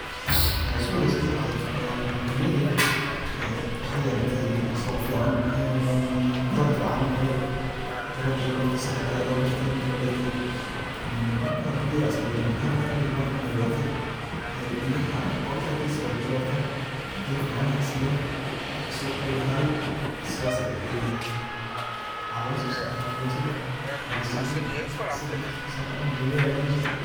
Waxa isbadashay horta oo muddo kadib ee waxyeelatay 3qsuq fiican ee talag fiican ru noqday talagi sait aya liberty marki la bertay een marki hore hort dad yar aa iska beeran jire hada lkn dad badan ayaa beertay ey wobi aktisaa aya kubrerten biya fican aya siyan marka suq ayu lahaday sidaas ayay maxaa laga so sara boshada walashidani asaga naftirkisa aya lacuni galey aya laga digani.